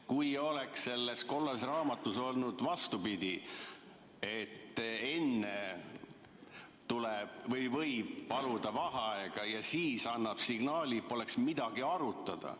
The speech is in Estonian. Kui selles kollases raamatus oleks olnud vastupidi, et enne võib paluda vaheaega ja siis annab signaali, poleks midagi arutada.